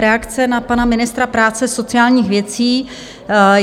Reakce na pana ministra práce a sociálních věcí.